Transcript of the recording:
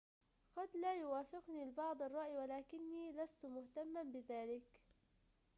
قد لا يوافقني البعض الرأي ولكني لست مهتماً بذلك